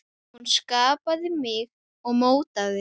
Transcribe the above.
Hún skapaði mig og mótaði.